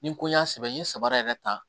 Ni n ko y'a sɛbɛn n ye sabara yɛrɛ ta